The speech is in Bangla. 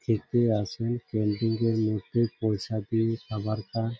খেতে আসে ক্যান্টিন -এর মধ্যে পয়সা দিয়ে খাবার খায় ।